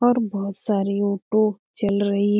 और बहुत सारी ऑटो चल रही --